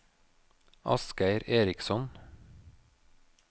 Asgeir Eriksson